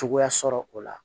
Cogoya sɔrɔ o la